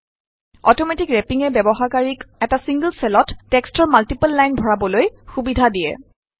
auto wrapping -এ ব্যৱহাৰকাৰীক এটা ছিংগল চেলত টেক্সটৰ মাল্টিপল লাইন ভৰাবলৈ সুবিধা দিয়ে